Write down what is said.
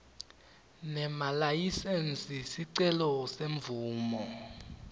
nemalayisensi sicelo semvumo